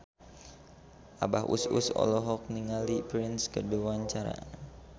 Abah Us Us olohok ningali Prince keur diwawancara